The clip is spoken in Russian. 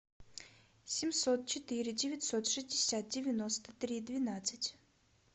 семьсот четыре девятьсот шестьдесят девяносто три двенадцать